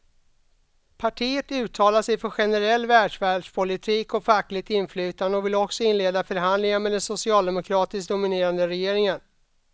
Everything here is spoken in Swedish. Partiet uttalar sig för generell välfärdspolitik och fackligt inflytande och vill också inleda förhandlingar med den socialdemokratiskt dominerade regeringen.